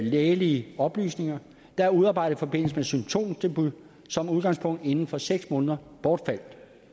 lægelige oplysninger der er udarbejdet i forbindelse med symptomdebut som udgangspunkt inden for seks måneder bortfalder